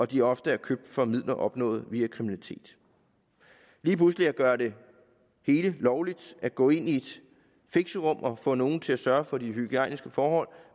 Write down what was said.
de ofte er købt for midler opnået via kriminalitet lige pludselig at gøre det hele lovligt at gå ind i et fixerum og få nogle til at sørge for de hygiejniske forhold